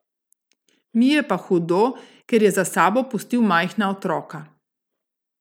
Mi je pa hudo, ker je za sabo pustil majhna otroka.